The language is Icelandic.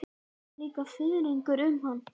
Það fer líka fiðringur um hann.